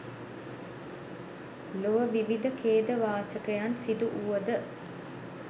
ලොව විවිධ ඛේදවාචකයන් සිදුවුවද